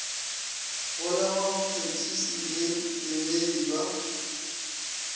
golegwa botšhotšhisi le kemedi ba